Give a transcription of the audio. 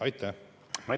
Aitäh!